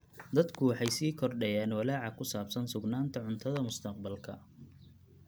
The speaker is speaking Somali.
Dadku waxay sii kordhayaan walaaca ku saabsan sugnaanta cuntada mustaqbalka.